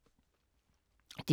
DR K